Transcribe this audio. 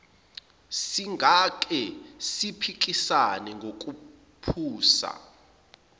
singake siphikisane nokuphusa